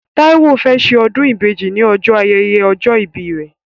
Táíwó fẹ́ ṣe ọdún ìbejì ní ọjọ́ ayẹyẹ ọjọ́ ìbí rẹ̀